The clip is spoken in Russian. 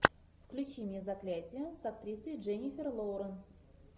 включи мне заклятие с актрисой дженнифер лоуренс